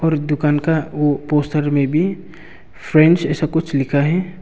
और दुकान का वो पोस्टर में भी फ्रेंड्स ऐसा कुछ लिखा है।